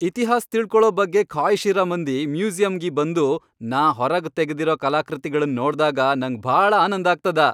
ಇತಿಹಾಸ್ ತಿಳಕೊಳ ಬಗ್ಗೆ ಖಾಯ್ಷ್ ಇರ ಮಂದಿ ಮ್ಯೂಸಿಯಂಗಿ ಬಂದು ನಾ ಹೊರಗ್ ತೆಗದಿರ ಕಲಾಕೃತಿಗಳನ್ ನೋಡ್ದಾಗ ನಂಗ್ ಭಾಳ ಆನಂದ್ ಆಗ್ತದ.